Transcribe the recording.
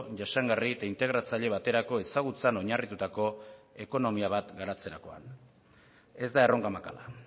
jasangarri eta integratzaile baterako ezagutzan oinarritutako ekonomia bat garatzerakoan ez da erronka makala